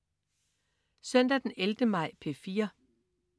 Søndag den 11. maj - P4: